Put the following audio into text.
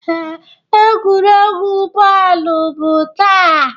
Ee, egwuregwu bọọlụ bụ taa.